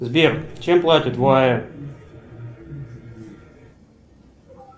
сбер чем платят в оаэ